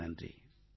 மிக்க நன்றி